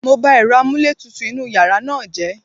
Mo ba èrọ amúlétutù inúu yàrá náà jẹ́.